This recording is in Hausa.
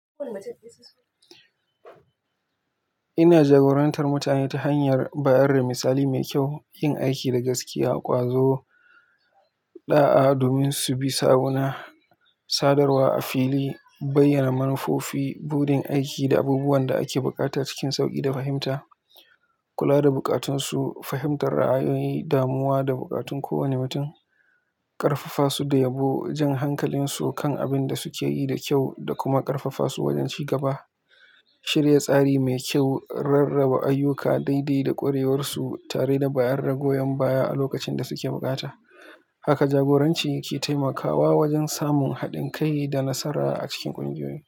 Ina jagorantar mutane ta hanyar bayar da misali mai kyau, yin aiki da gaskiya, ƙwazo ɗa'a domin su bi sawuna, sadarwa a fili, bayyana manufofi, buɗin aiki, da abubuwan da ake buƙata cikin sauƙi da fahimta, kula da bukatunsu, fahimtar ra'ayoyi, damuwa da bukatun kowane mutum, ƙarfafa su da yabo, jan hankalinsu kan abin da suke yi da kyau da kuma ƙarfafa su wajen ci gaba, shirya tsari mai kyau, rarraba ayyuka daidai da ƙwarewarsu tare da bayar da goyon baya a lokacin da suke bukata. Haka jagoranci ke taimakawa wajen samun haɗin kai da nasara a cikin ƙungiyoyi.